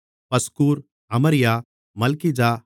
பஸ்கூர் அமரியா மல்கிஜா